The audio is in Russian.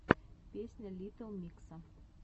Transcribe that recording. песня литтл микса